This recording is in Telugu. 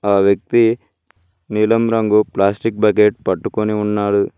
ఆ వ్యక్తి నీలం రంగు ప్లాస్టిక్ బకెట్ పట్టుకొని ఉన్నారు.